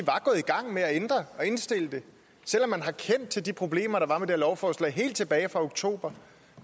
gang med at ændre og indstille det selv om man har kendt til de problemer der var med det lovforslag helt tilbage fra oktober